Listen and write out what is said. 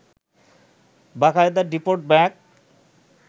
বাকায়দা deport back